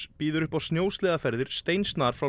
býður upp á snjósleðaferðir steinsnar frá